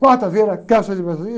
Quarta vez, era quero ser massagista.